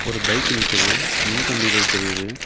ஒரு பைக் நிக்குது மின்கம்பிகள் தெரியுது.